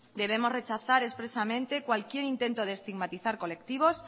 debemos rechazamos expresamente cualquier intento de estigmatizar colectivos